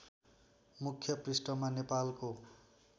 मुख्य पृष्‍ठमा नेपालको